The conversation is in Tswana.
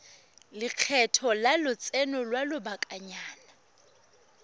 lekgetho la lotseno lwa lobakanyana